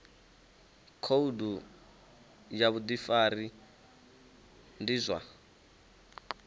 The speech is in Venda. khoudu ya vhudifari ndi zwa